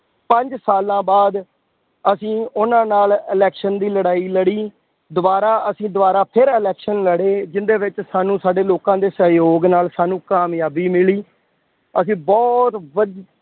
ਪੰਜ ਸਾਲਾਂ ਬਾਅਦ ਅਸੀਂ ਉਹਨਾ ਨਾਲ election ਵੀ ਲੜਾਈ ਲੜੀ, ਦੁਬਾਰਾ ਅਸੀਂ ਦੁਬਾਰਾ ਫੇਰ election ਲੜੇ, ਜਿਹਦੇ ਵਿੱਚ ਸਾਨੂੰ ਸਾਡੇ ਲੋਕਾਂ ਦੇ ਸਹਿਯੋਗ ਨਾਲ ਸਾਨੂੰ ਕਾਮਯਾਬੀ ਮਿਲੀ। ਅਸੀਂ ਬਹੁਤ ਵਧ